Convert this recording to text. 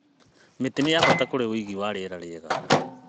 Mĩtĩ nĩ ya bata kũrĩ ũigi wa rĩera rĩega.